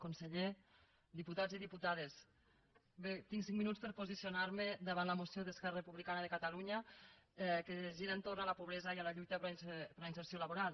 conseller diputats i diputades bé tinc cinc minuts per posicionar me davant la moció d’esquerra republicana de catalunya que gira a l’entorn de la pobresa i de la lluita per la inserció social